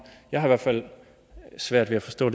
jeg har i hvert fald svært ved at forstå